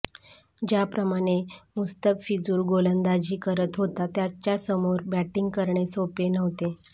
ज्याप्रमाणे मुस्तफिझुर गोलंदाजी करत होता त्याच्यासमोर बॅटिंग करणे सोपे नव्हते